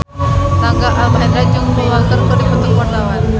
Rangga Almahendra jeung Paul Walker keur dipoto ku wartawan